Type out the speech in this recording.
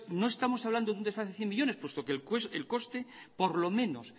no estamos hablando de un desfase de cien millónes puesto que el coste por lo menos